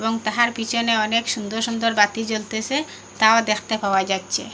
তাহার পিছনে অনেক সুন্দর সুন্দর বাতি জ্বলতেসে তাও দেখতে পাওয়া যাচ্ছে।